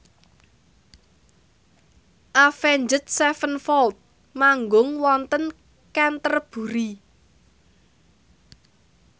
Avenged Sevenfold manggung wonten Canterbury